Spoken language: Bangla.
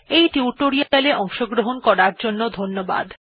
এই টিউটোরিয়াল এ অংশগ্রহণ করার জন্য ধন্যবাদ